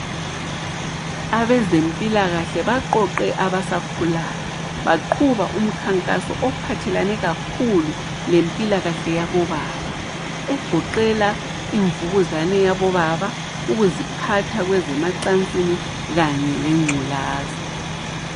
Abezempilakahle baqoqe abasakhulayo, baqhuba umkhankaso ophathelane kakhulu lempilakahle yabobaba, egoqela imvukuzane yabobaba, ukuziphatha kwezemacansini kanye lengculaza.